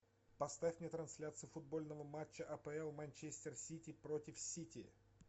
поставь мне трансляцию футбольного матча апл манчестер сити против сити